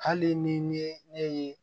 Hali ni ye ne ye